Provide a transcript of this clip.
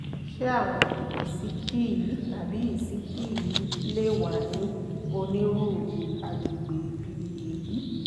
ṣé àwọn ìsíkí yìí tàbí ìsíkí yìí lè wà ní onírúurú àgbègbè bíi èyí?